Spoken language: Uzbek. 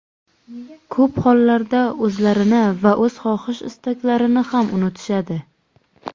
Ko‘p hollarda, o‘zlarini va o‘z xohish-istaklarini ham unutishadi.